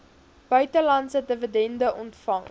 buitelandse dividende ontvang